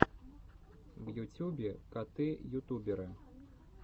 в ютюбе коты ютуберы